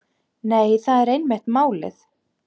Nei, það er einmitt málið.